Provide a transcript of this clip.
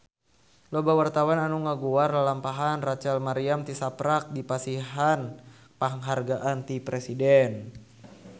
Loba wartawan anu ngaguar lalampahan Rachel Maryam tisaprak dipasihan panghargaan ti Presiden